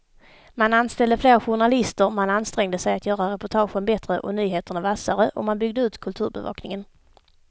Man anställde fler journalister, man ansträngde sig att göra reportagen bättre och nyheterna vassare och man byggde ut kulturbevakningen.